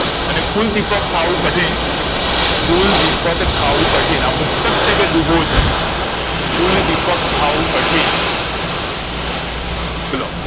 અને કુલદીપ કથાવું કઠિન કુલદીપ કથાવું કઠિન આ મુક્તક છે કે દુહો છે કુલદીપ કથાવું કઠિન ચલો